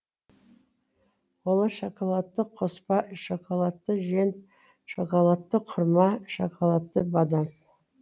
олар шоколадты қоспа шоколадты жент шоколадты құрма шоколадты бадам